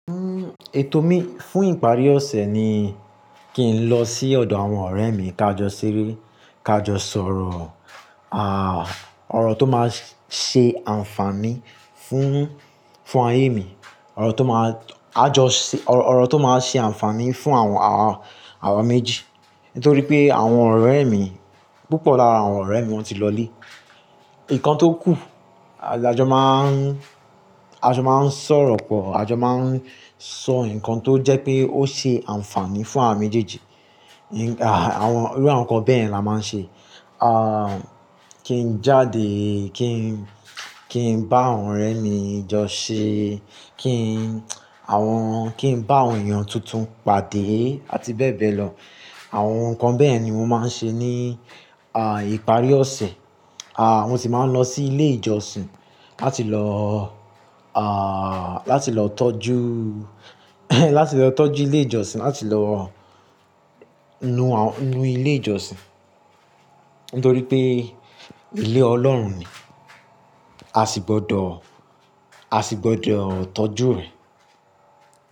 Uhm, ètò mi fún ìparí ọ̀sẹ̀ ni kí n lọ sí ọ̀dọ̀ àwọn ọ̀rẹ́ mi, ká jọ ṣeré, ká jọ sọ̀rọ̀, àh, ọ̀rọ̀ tó máa ṣe àǹfààní fún, fún ayé mi, ọ̀rọ̀ tó máa, a jọ ṣe, ọ̀rọ̀ tó máa ṣe àǹfààní fún àwọn, àwọn, àwọn méjì. Nítorí pé àwọn ọ̀rẹ́ mi, púpọ̀ lára àwọn ọ̀rẹ́ mi wọ́n ti lọlé. Ìkan tó kù, a jọ máa ń, a jọ máa ń sọ̀rọ̀ pọ̀, a jọ máa ń sọ nǹkan tó jẹ́ pé ó ṣe àǹfààní fún àwa méjèèjì. Àwọn, irú àwọn nǹkan bẹ́ẹ̀yen la máa ń ṣe. Àh, kí n jáde, kí n, kí n bá àwọn ọ̀rẹ́ mi jọ ṣe, kí n, àwọn, kí n bá àwọn èèyàn tuntun pàdé àti bẹ́ẹ̀ bẹ́ẹ̀ lọ. Àwọn nǹkan bẹ́ẹ̀ ni mo máa ń ṣe ní, àh, ìparí ọ̀sẹ̀. Àh, mo sì máa ń lọ sí ilé ìjọsìn láti lọ, àh, láti lọ tọ́jú, láti lọ tọ́jú ilé ìjọsìn, láti lọ nu àwọn, nu ilé ìjọsìn. Nítorí pé ilé Ọlọ́run ni, a sì gbọdọ̀, a sì gbọdọ̀ tọ́jú rẹ̀